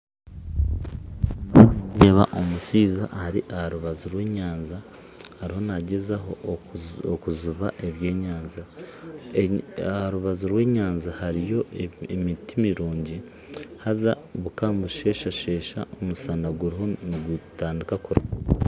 Ndiyo nindeeba omushaija ari ha rubaju rwa enyanja ariyo nagezaho okujuba ebyenyanja ha rubaju rwa enyanja hariyo emiti emirungi haza buka nibusheshashesha omusana guriho nigutandika kurugayo